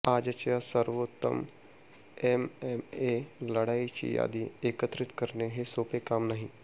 आजच्या सवोर्त्तम एमएमए लढायांची यादी एकत्रित करणे हे सोपे काम नाही